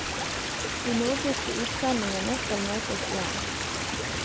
De nordiske utsendingene skal møtes igjen.